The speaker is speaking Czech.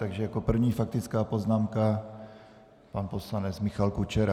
Takže jako první faktická poznámka pan poslanec Michal Kučera.